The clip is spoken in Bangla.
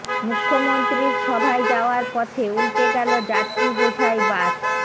মুখ্যমন্ত্রীর সভায় যাওয়ার পথে উল্টে গেল যাত্রী বোঝাই বাস